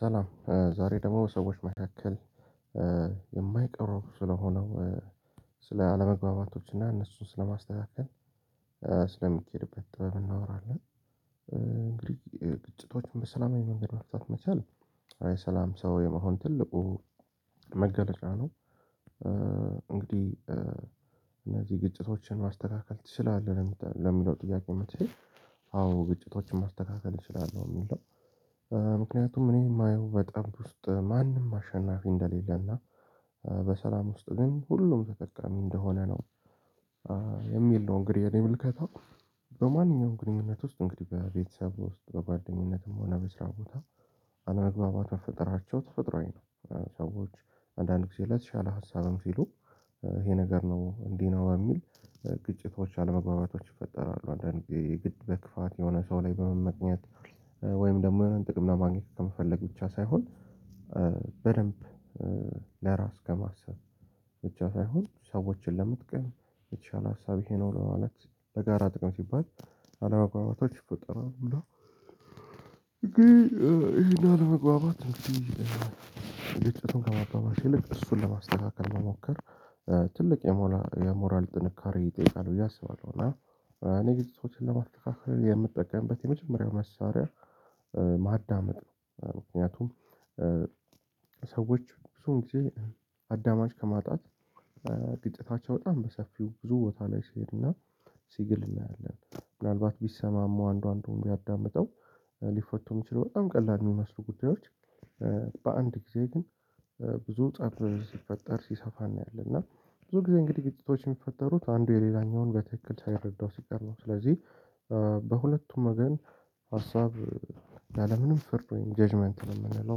ሰላም ዛሬ ደግሞ ሰዎች መካከል የማይቀር ስለሆነው ስለ አለመግባባቶች እና እነሱን ስለማስተካከል ስለሚኬድበት ጥበብ እናወራለን። እንግዲህ ግጭቶችን በሰላማዊ መንገድ መፍታት መቻል አይ ሰላም ሰው የመሆን ትልቁ መገለጫ ነው። እንግዲህ እነዚህ ግጭቶችን ማስተካከል ትችላለህ ለሚለው ጥያቄ መልሴ አዎ ግጭቶችን ማስተካከል እችላለሁ የሚል ነው። ምክንያቱም እኔ የማየው በጠብ ውስጥ ማንም አሸናፊ እንደሌለና በሰላም ውስጥ ግን ሁሉም ተጠቃሚ እንደሆነ ነው የሚል ነው። እንግዲህ እኔ ምልከታው በማንኛውም ግንኙነት ውስጥ እንግዲህ በቤተሰብ ውስጥ በጓደኝነትም ሆነ በስራ ቦታ አለመግባባት መፈጠራቸው ተፈጥሮአዊ ነው። ሰዎች አንዳንድ ጊዜ ላይ የተሻለ ሀሳብም ሲሉ ይሄ ነገር ነው እንዲህ ነው የሚል ግጭቶች አለመግባባቶች ይፈጠራሉ አንዳንዴ የግድ በክፋት የሆነ ሰው ላይ በመመቅኘት ወይም ደግሞ ጥቅም ለማግኘት ከመፈለግ ብቻ ሳይሆን በደንብ ለራስ ከማሰብ ብቻ ሳይሆን ሰዎችን ለመጥቀም የተሻለ ሀሳብ ይሄ ነው ለማለት ለጋራ ጥቅም ሲባል አለማግባባቶች ይፈጥራሉ። እንዴ ይሄን አለመግባባት እንግዲህ ግጭቱን ከማባባስ ይልቅ እሱን ለማስተካከል መሞከር ትልቅ የሞራል ጥንካሬ ይጠይቃል ብዬ አስባለሁ። እና እኔ ግን ሰዎችን ለማስተካከል የምጠቀምበት የመጀመሪያው መሳሪያ ማዳመጥ ነው። ምክንያቱም ሰዎች ብዙን ጊዜ አዳማጭ ከማጣት ግጥታቸው በጣም በሰፊው ብዙ ቦታ ላይ ሲሄድና ሲግል እናያለን ምናልባት ቢሰማማው አንዷን እንደውም ቢያዳምጠው ሊፈቱም እሚችሉ በጣም ቀላል የሚመስሉ ጉዳዮች። በአንድ ጊዜ ግን ብዙ ፀብ ሲፈጠር ሲሰፋ እናያለን እና ብዙ ጊዜ እንግዲህ ግጥቶች የሚፈጠሩት አንዱ የሌላኛውን በትክክል ሳይረዳው ሲቀር ነው። ስለዚህ በሁለቱም ወገን ሀሳብ ያላለምንም ፍርድ ወይም ጀጅመንት ነው የምንለው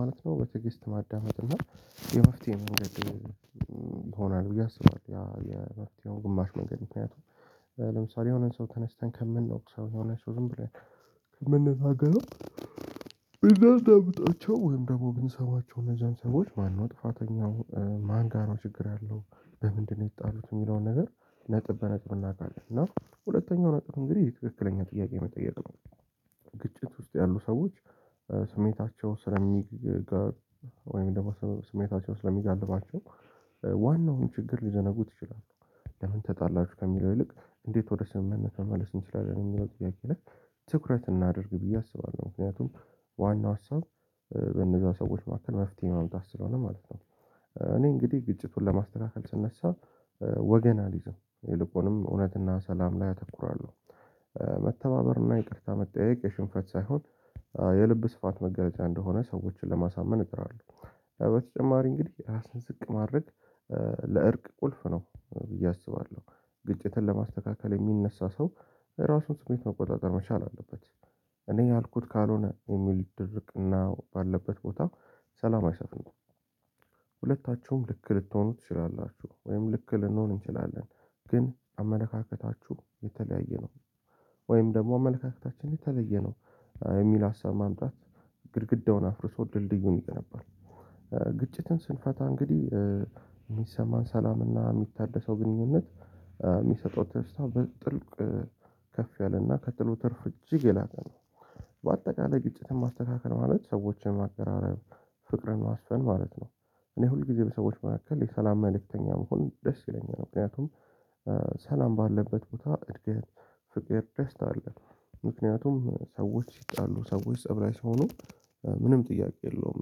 ማለት ነው። በትዕግስት ማዳመጥ እና የመፍትሄ መንገድ ሆኗል ብዬ አስባለሁ የመፍትሄው ግማሽ መንገድ ምክንያቱም ለምሳሌ የሆነን ሰው ተነስተን ከምንወቅሰው የሆነ ሰው ዝም ብለን ከምንታገለው ብናዳምጣቸው ወይም ደግሞ ብንሰማቸው ለዛን ሰዎች ማነው ጥፋተኛው ማን ጋር ነው ችግር ያለው በምንድነው የተጣሉት የሚለውን ነገር ነጥብ በነጥብ እናውቃለን። እና ሁለተኛው ነጥብ እንግዲህ ትክክለኛ ጥያቄ መጠየቅ ነው። ግጭት ውስጥ ያሉ ሰዎች ስሜታቸው ስለሚጋር ስለሚጋልባቸው ዋናውን ችግር ሊዘነጉት ይችላሉ። ለምን ተጣላችሁ ከሚለው ይልቅ እንዴት ወደ ስምምነት መመለስ እንችላለን የሚለው ጥያቄ ላይ ትኩረት እናድርግ ብዬ አስባለሁ። ምክንያቱም ዋናው ሀሳብ እነዛው ሰዎች መካከል መፍትሄ ማምጣት ስለሆነ ማለት ነው። እኔ እንግዲህ ግጭቱን ለማስተካከል ስነሳ ወገን አልይዝም ይልቁንም እውነትና ሰላም ላይ አተኩራለሁ። መተባበርና ይቅርታ መጠየቅ የሽንፈት ሳይሆን የልብ ስፋት መገለጫ እንደሆነ ሰዎችን ለማሳመን እጥራለሁ። በተጨማሪ እንግዲህ እራስን ዝቅ ማረግ ለእርቅ ቁልፍ ነው ብዬ አስባለሁ። ግጭትን ለማስተካከል የሚነሳ ሰው ራሱን ስሜት መቆጣጠር መቻል አለበት። እኔ ያልኩት ካልሆነ የሚል ድርቅና ባለበት ቦታ ሰላም አይሰጥም። ሁለታችሁም ልክ ልትሆኑ ትችላላችሁ ወይም ልክ ልንሆን እንችላለን ግን አመለካከታችሁ የተለያየ ነው። ወይም ደግሞ አመለካከታችን የተለየ ነው። የሚል ሀሳብ ማምጣት ግድግዳውን አፍርሶ ድልድዩን ይገነባል። ግጭትን ስንፈታ እንግዲህ የሚሰማን ሰላምና የሚታደሰው ግንኙነት የሚሰጠው ተስፋ በጥልቅ ከፍ ያለና ከጥሉ ትርፍ እጅግ የላቀ ነው። በአጠቃላይ ግጭት ማስተካከል ማለት ሰዎችን ማቀራረብ ፍቅርን ማስፈን ማለት ነው። እኔ ሁል ጊዜ በሰዎች መካከል የሰላም መልእክተኛ መሆን ደስ ይለኛል። ምክንያቱም ሰላም ባለበት ቦታ እድገት ፍቅር ደስታ አለ። ምክንያቱም ሰዎች ሲጣሉ ሰዎች ፀብ ላይ ሲሆኑ ምንም ጥያቄ የለውም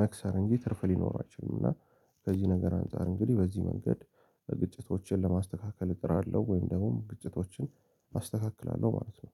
መክሰር እንጂ ትርፍ ሊኖር አይችልም። እና ከዚህ ነገር አንፃር እንግዲህ በዚህ መንገድ ግጭቶችን ለማስተካከል እጥራለሁ ወይም ደግሞ ግጭቶችን አስተካክላለሁ ማለት ነው